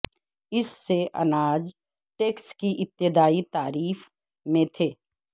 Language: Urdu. اس سے اناج ٹیکس کی ابتدائی تعریف میں تھے